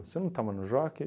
Você não estava no jockey?